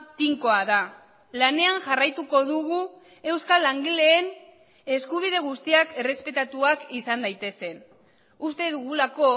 tinkoa da lanean jarraituko dugu euskal langileen eskubide guztiak errespetatuak izan daitezen uste dugulako